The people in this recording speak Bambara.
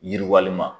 Yiriwalima